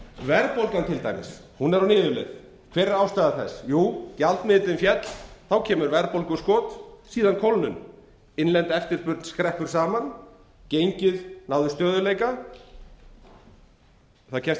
verðbólgan er til dæmis á niðurleið hver er ástæða þess jú gjaldmiðillinn féll þá kemur verðbólguskot síðan kólnun innlend eftirspurn skreppur saman gengið nær stöðugleika það kemst